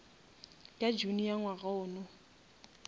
ka june ya ngwaga wona